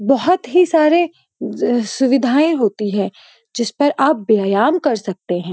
बहोत ही सारे सुविधाएं होती हैं। जिस पर आप व्यायाम कर सकते हैं।